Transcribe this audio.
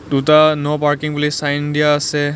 দুটা no parking বুলি sign দিয়া আছে.